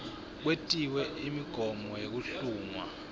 kwetiwe imigomo yekuhlungwa